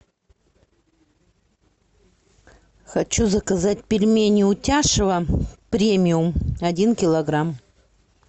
хочу заказать пельмени утяшево премиум один килограмм